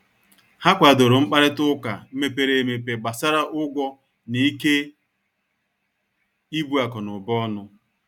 Ha kwàdòrò mkparịta ụka mepere emepe gbàsara ụgwọ na ikè ibu akụ̀nụba ọnụ.